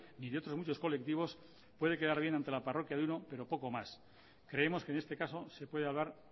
ni de otros muchos colectivos puede quedar bien ante la parroquia de uno pero poco más creemos que en este caso se puede hablar